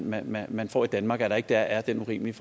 man man får i danmark altså at der ikke er den urimelige